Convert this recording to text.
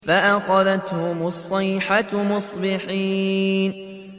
فَأَخَذَتْهُمُ الصَّيْحَةُ مُصْبِحِينَ